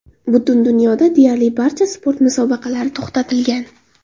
Butun dunyoda deyarli barcha sport musobaqalari to‘xtatilgan.